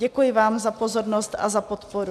Děkuji vám za pozornost a za podporu.